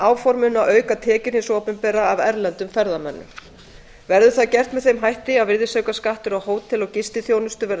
áform um að auka tekjur hins opinbera af erlendum ferðamönnum verður það gert með þeim hætti að virðisaukaskattur á hótel og gistiþjónustu verður